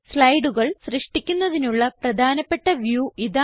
സ്ലൈഡുകൾ സൃഷ്ടിക്കുന്നതിനുള്ള പ്രധാനപ്പെട്ട വ്യൂ ഇതാണ്